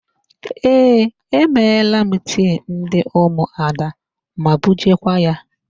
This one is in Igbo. Ee, e meela tii ndị ụmụada ma bujeekwa ya.